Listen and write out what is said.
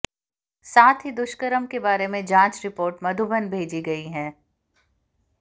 साथ ही दुष्कर्म के बारे में जांच रिपोर्ट मधुबन भेजी गई है